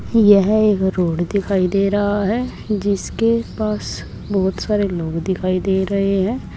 यह एक रोड दिखाई दे रहा है जिसके पास बहोत सारे लोग दिखाई दे रहे हैं।